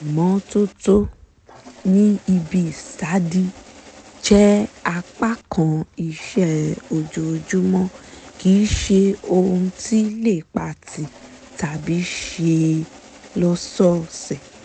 ìmọ́tótó ní ibi ìsádi jẹ́ apá kan iṣẹ́ ojoojúmọ́ kì ṣe ohun tí lè pa tì tàbí ṣe lọ́sọ̀ose